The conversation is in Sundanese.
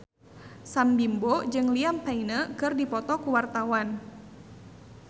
Sam Bimbo jeung Liam Payne keur dipoto ku wartawan